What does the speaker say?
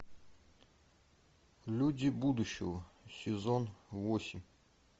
люди будущего сезон восемь